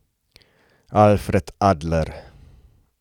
Alfred Adler.